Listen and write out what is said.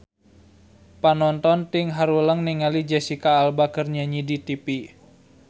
Panonton ting haruleng ningali Jesicca Alba keur nyanyi di tipi